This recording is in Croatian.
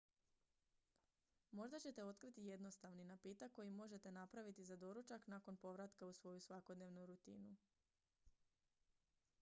možda ćete otkriti jednostavni napitak koji možete napraviti za doručak nakon povratka u svoju svakodnevnu rutinu